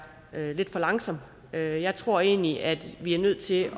lidt for langsom jeg jeg tror egentlig at vi er nødt til